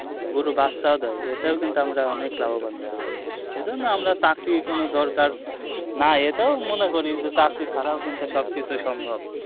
গরু বাচ্চাও দেয় এটাও কিন্তু আমরা অনেক লাভবান হতে পারি এ জন্য আমরা চাকরি কোনো দরকার নাই এটাও মনে করি যে চাকরি ছাড়াও সব কিছুই সম্ভব